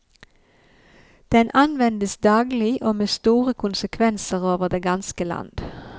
Den anvendes daglig og med store konsekvenser over det ganske land.